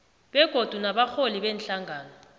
begodu nabarholi beenhlangano